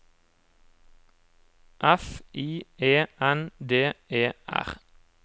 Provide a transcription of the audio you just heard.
F I E N D E R